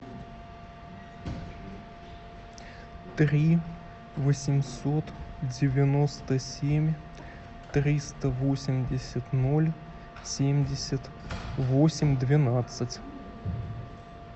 три восемьсот девяносто семь триста восемьдесят ноль семьдесят восемь двенадцать